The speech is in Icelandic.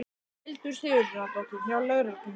Hildur Sigurðardóttir: Hjá lögreglunni?